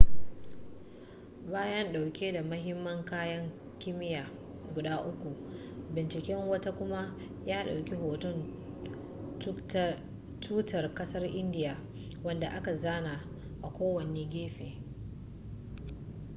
bayan ɗauke da mahimman kayan kimiyya guda uku binciken wata kuma ya ɗauki hoton tutar ƙasar indiya wanda aka zana a kowane gefe